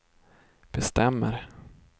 bestämmer